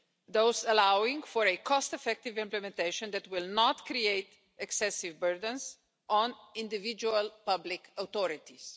thus allowing for a cost effective implementation that will not create excessive burdens on individual public authorities.